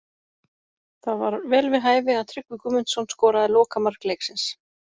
Það var vel við hæfi að Tryggvi Guðmundsson skoraði lokamark leiksins.